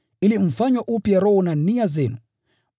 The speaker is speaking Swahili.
ili mfanywe upya roho na nia zenu,